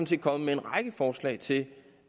set kommet med en række forslag til